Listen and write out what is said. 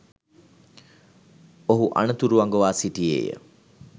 ඔහු අනතුරු අඟවා සිටියේය